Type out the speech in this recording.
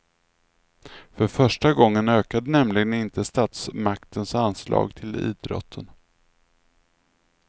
För första gången ökade nämligen inte statsmaktens anslag till idrotten.